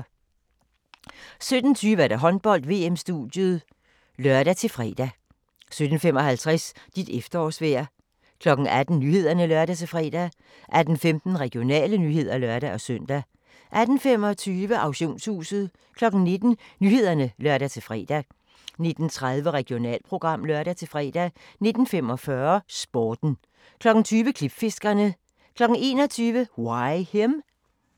17:20: Håndbold: VM-studiet (lør-fre) 17:55: Dit efterårsvejr 18:00: Nyhederne (lør-fre) 18:15: Regionale nyheder (lør-søn) 18:25: Auktionshuset 19:00: Nyhederne (lør-fre) 19:30: Regionalprogram (lør-fre) 19:45: Sporten 20:00: Klipfiskerne 21:00: Why Him?